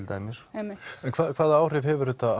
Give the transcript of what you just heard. einmitt en hvaða áhrif hefur þetta